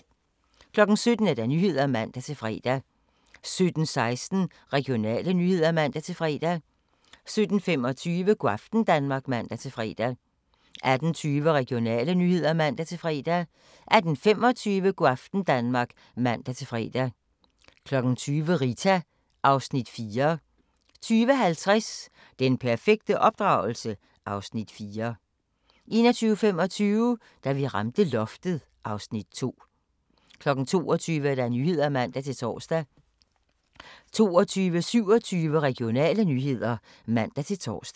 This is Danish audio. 17:00: Nyhederne (man-fre) 17:16: Regionale nyheder (man-fre) 17:25: Go' aften Danmark (man-fre) 18:20: Regionale nyheder (man-fre) 18:25: Go' aften Danmark (man-fre) 20:00: Rita (Afs. 4) 20:50: Den perfekte opdragelse? (Afs. 4) 21:25: Da vi ramte loftet (Afs. 2) 22:00: Nyhederne (man-tor) 22:27: Regionale nyheder (man-tor)